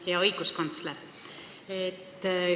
Hea õiguskantsler!